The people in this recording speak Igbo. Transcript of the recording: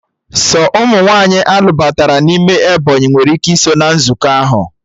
Sọ ụmụ nwaanyị a lụbatara n'ime Ebọnyị nwere ike iso na nzukọ ahụ